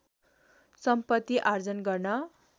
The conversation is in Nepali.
सम्पत्ति आर्जन गर्न